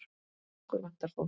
Okkur vantar fólk.